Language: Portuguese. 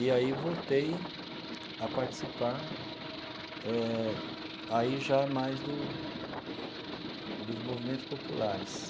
E aí voltei a participar eh aí já mais do dos movimentos populares.